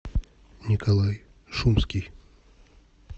николай шумский